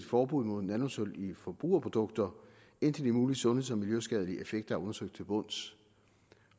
forbud mod nanosølv i forbrugerprodukter indtil de mulige sundheds og miljøskadelige effekter er undersøgt til bunds